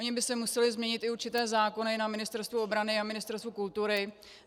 Ony by se musely změnit i určité zákony na Ministerstvu obrany a Ministerstvu kultury.